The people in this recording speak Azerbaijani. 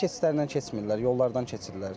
Piyada keçidlərindən keçmirlər, yollardan keçirlər.